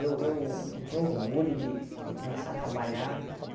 Eu eu eu tinha orgulho de de começar a trabalhar.